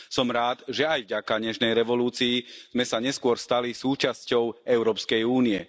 Som rád, že aj vďaka Nežnej revolúcii sme sa neskôr stali súčasťou Európskej únie.